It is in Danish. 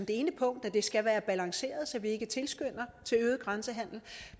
balanceret at vi ikke tilskynder til øget grænsehandel